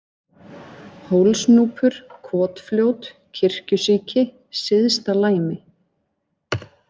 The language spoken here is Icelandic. Hólsnúpur, Kotfljót, Kirkjusíki, Syðsta-Læmi